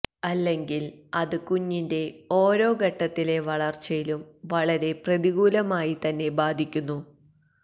അല്ലെങ്കില് അത് കുഞ്ഞിന്റെ ഓരോ ഘട്ടത്തിലെ വളര്ച്ചയിലും വളരെ പ്രതികൂലമായി തന്നെ ബാധിക്കുന്നു